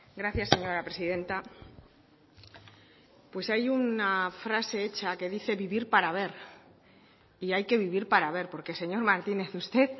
gracias señora presidenta pues hay una frase hecha que dice vivir para ver y hay que vivir para ver porque señor martínez usted